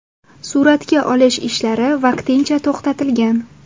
Suratga olish ishlari vaqtincha to‘xtatilgan.